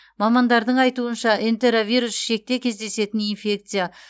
мамандардың айтуынша энтеровирус ішекте кездесетін инфекция